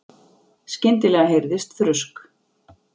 Skyndilega heyrðist þrusk.